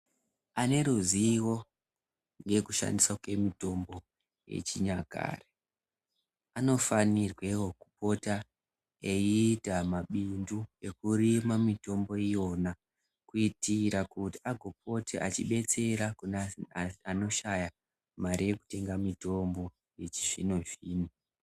Ane ruzivo yekushandiswa kemutombo yechinyakare anofanirwe kupota eiita mabindu ekurima mitombo iyona kuitira kuti agopote achidetsera kune antani anoshaya mare yekutenga mitombo yechi zvinozvino.